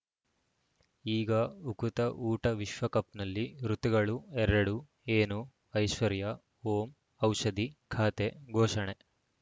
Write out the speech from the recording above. ಈಗ ಉಕುತ ಊಟ ವಿಶ್ವಕಪ್‌ನಲ್ಲಿ ಋತುಗಳು ಎರಡು ಏನು ಐಶ್ವರ್ಯಾ ಓಂ ಔಷಧಿ ಖಾತೆ ಘೋಷಣೆ